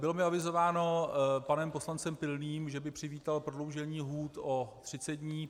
Bylo mi avizováno panem poslancem Pilným, že by přivítal prodloužení lhůt o 30 dní.